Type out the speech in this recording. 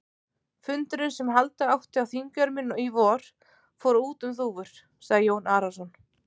Fundurinn sem halda átti á Þingeyrum í vor, fór út um þúfur, sagði Jón Arason.